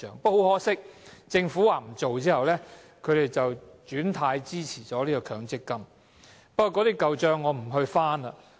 不過，很可惜，政府說不做後，他們便"轉軚"支持強積金，我不翻這些舊帳了。